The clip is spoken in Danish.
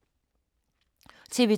TV 2